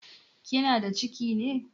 Kina da ciki ne?